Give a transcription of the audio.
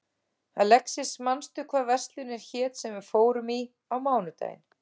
Alexis, manstu hvað verslunin hét sem við fórum í á mánudaginn?